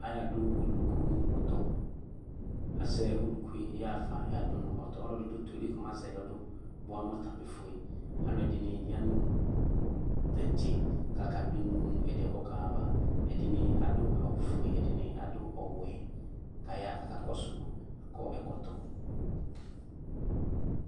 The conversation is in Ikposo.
Ayaxa dʋ ɔlʋkʋ nʋ ɔtɔ azɛ ɔlʋkʋ yɛ yaxfa yɔadʋ nʋ ɔtɔ ɔlɔdi dʋ ɔtɔ yɛli kɔmatɛ yɔdʋ bʋa mʋ ɔtamefue alʋɛdini yanʋ tantse kʋ akadʋ eme nʋ ɛdi yɛ kaxa ayava ɛdini adʋ awʋfue ɛdini adʋ ɔwɛ kʋ ayaxa kʋ akakɔsʋ akɔ ɛkɔtɔ